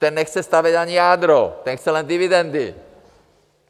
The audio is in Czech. Ten nechce stavět ani jádro, ten chce jen dividendy!